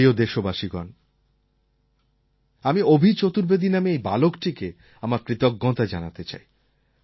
আমার প্রিয় দেশবাসীগণ আমি অভি চতুর্বেদী নামে এই বালকটিকে আমার কৃতজ্ঞতা জানাতে চাই